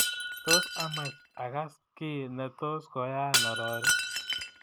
Tos amach agas kiiy netos koyaya arori